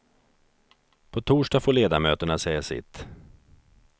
På torsdag får ledamöterna säga sitt.